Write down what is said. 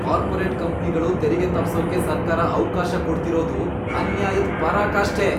Corporate ಕಂಪ್ನಿಗಳು ತೆರಿಗೆ ತಪ್ಸೋಕೆ ಸರ್ಕಾರ ಅವ್ಕಾಶ ಕೊಡ್ತಿರೋದು ಅನ್ಯಾಯದ್ ಪರಾಕಾಷ್ಠೆ.